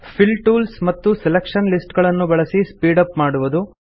fill tools ಮತ್ತು selection list ಗಳನ್ನು ಬಳಸಿ ಸ್ಪೀಡ್ ಅಪ್ ಮಾಡುವುದು